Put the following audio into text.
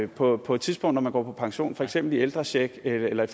på på et tidspunkt når man går på pension for eksempel i ældrecheck eller